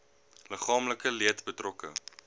liggaamlike leed betrokke